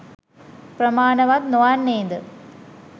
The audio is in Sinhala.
ප්‍රමාණවත් නොවන්නේද?